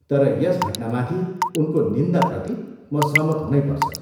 तर यस घटनामाथि उनको निन्दाप्रति म सहमत हुनैपर्छ।